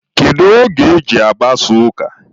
Kedu oge e ji agbasa ụka?